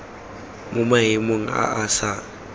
mo maemong a a sa